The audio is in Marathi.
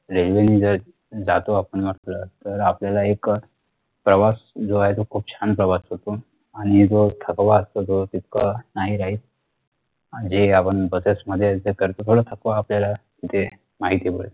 जातो आपण आपलं तर आपल्याला एक अह प्रवास जो आहे तो खूप छान प्रवास होतो आणि जो थकवा असतो तो तितका नाही राहील म्हणजे आपण buses मध्ये जे करतो थोडा थकवा आपल्याला जे माहिती